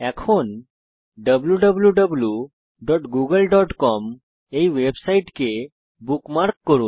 এখন wwwgooglecom এই ওয়েবসাইটকে বুকমার্ক করুন